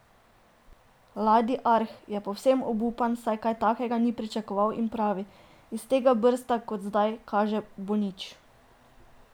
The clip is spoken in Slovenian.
Ladi Arh je povsem obupan, saj kaj takega ni pričakoval in pravi: "Iz tega brsta kot zdaj kaže bo nič.